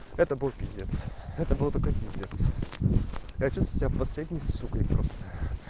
это был пиздец это был какой-то пиздец я чувствую себя последней сукой просто